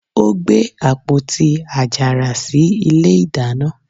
ó gbé àpótí àjàrà sí ilé ìdáná.